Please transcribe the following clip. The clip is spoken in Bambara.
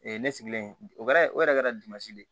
ne sigilen o kɛra o yɛrɛ kɛra dimansi de ye